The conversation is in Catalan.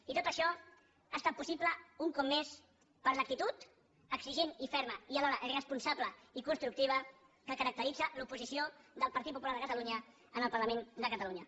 i tot això ha estat possible un cop més per l’actitud exigent i ferma i alhora responsable i constructiva que caracteritza l’oposició del partit popular de catalunya en el parlament de catalunya